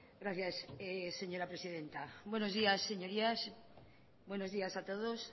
gracias señora presidenta buenos días señorías buenos días a todos